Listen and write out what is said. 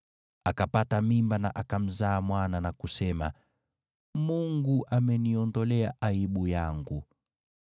Akapata mimba na akamzaa mwana na kusema, “Mungu ameniondolea aibu yangu.”